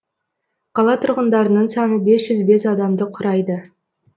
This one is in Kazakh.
қала тұрғындарының саны бес жүз бес адамды құрайды